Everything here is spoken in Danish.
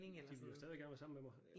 De ville jo stadig gerne være sammen med mig